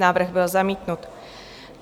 Návrh byl zamítnut.